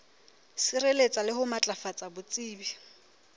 sireletsa le ho matlafatsa botsebi